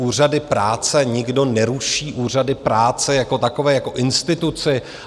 Úřady práce nikdo neruší, úřady práce jako takové, jako instituci.